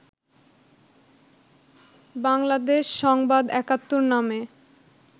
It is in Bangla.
বাংলাদেশ সংবাদ ৭১ নামে